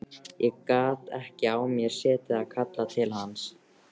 Ég gat ekki á mér setið að kalla til hans.